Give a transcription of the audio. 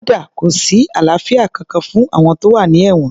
Kódà kò sí àlàáfíà kankan fún àwọn tó wà ní èwọ̀n